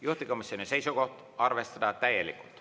Juhtivkomisjoni seisukoht on, et arvestada täielikult.